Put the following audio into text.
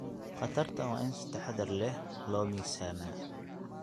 Khatartaan waa in si taxadar leh loo miisaamaa.